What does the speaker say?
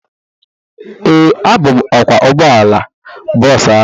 Ee, abụ m ọkwọ ụgbọala bọọsu ahụ